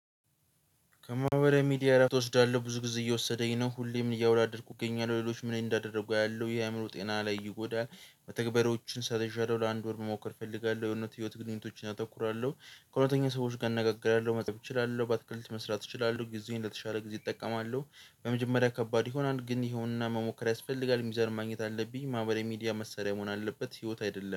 ከማህበረ ሚዲያ እረፍት ትወስዳለህ ብዙ ጊዜ እየወሰደኝ ነው ሁሌም እያወላደድኩ እገኛለሁ ሌሎች ምን እንዳደረጉ ያሉ ይሄ አእምሮ ጤና ላይ ይጎዳል። በተግባሮችን ስትራቴጂያለሁ ለአንድ ወር መሞከር እፈልጋለሁ የህይወት ግንኙነቶችን አተኩራለሁ። ከሁለተኛ ሰዎች ጋር እነጋግራለሁ መጠብ እችላለሁ። በአትክልት መስራት እችላለሁ። ጊዜዬን ለተሻለ ጊዜ እጠቀማለሁ። በመጀመሪያ ከባድ ይሆናል ግን ይሄውንና መሞከር ያስፈልጋል። ዩዘር ማግኘት አለብኝ ማህበራዊ ሚዲያ መሰሪያ መሆን አለበት። ህይወት አይደለም።